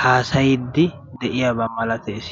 haasayiddi de'iyaba malatees.